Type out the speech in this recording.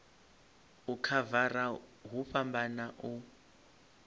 u khavara hu fhambana u